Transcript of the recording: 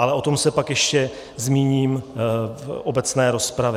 Ale o tom se pak ještě zmíním v obecné rozpravě.